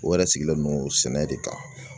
O yɛrɛ sigilen don sɛnɛ de kan